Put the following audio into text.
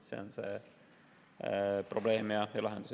See on see probleem ja lahendus.